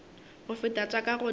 go feta tša ka godimo